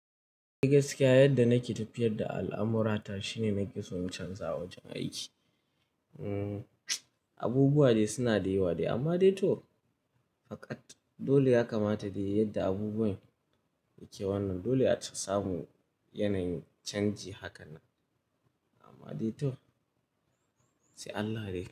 Gaskiya yadda nake tafiyar da al'amurata shine nake so in canza wajen aiki. Abubuwa dai suna da yawa dai amma dai to faƙat dole ya kamata dai yadda abubuwan yake wannan dole ace samu yanayin canji haka nan. Amma dai to sai Allah dai.